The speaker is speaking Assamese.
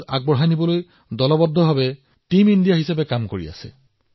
প্ৰতিজন নাগৰিকে দেশখনক আগুৱাই নিয়াৰ বাবে একাধিক পদক্ষেপ গ্ৰহণ কৰিবলৈ চেষ্টা কৰিছে